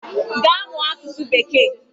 Gaa mụọ asụsụ bekee!